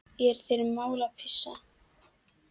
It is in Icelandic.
Er þér mál að pissa?